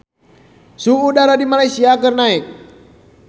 Suhu udara di Malaysia keur naek